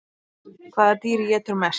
Hvaða dýr étur mest?